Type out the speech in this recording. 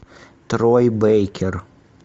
трой бейкер